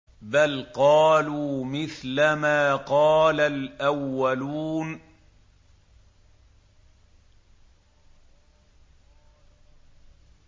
بَلْ قَالُوا مِثْلَ مَا قَالَ الْأَوَّلُونَ